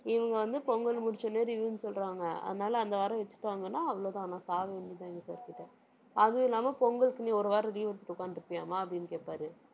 இவங்க வந்து, பொங்கல் முடிச்ச உடனே review ன்னு சொல்றாங்க. அதனால, அந்த வாரம் வச்சிட்டாங்கன்னா, அவ்வளவுதான். நான் சாக வேண்டியதுதான் எங்க sir கிட்ட அதுவுமில்லாம, பொங்கலுக்கு நீ ஒரு வாரம் leave விட்டுட்டு உட்கார்ந்துட்டு இருப்பியாம்மா? அப்படின்னு கேட்பாரு.